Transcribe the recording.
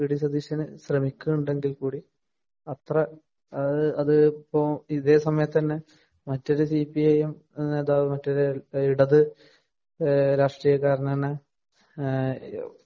V. D Satheesan‍ ശ്രമിക്കുന്നുണ്ടെങ്കില്‍ കൂടി അത്ര ഇത് ഇപ്പൊ ഇതേസമയത്ത് തന്നെ അത്ര ഇപ്പൊ ഇതേസമയത്ത് തന്നെ മറ്റൊരു സി പി ഐ എം നേതാവ് മറ്റൊരു ഇടത് രാഷ്ട്രീയക്കാരന്‍ തന്നെ